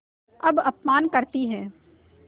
अब अपमान करतीं हैं